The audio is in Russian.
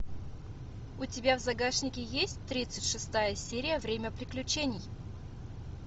у тебя в загашнике есть тридцать шестая серия время приключений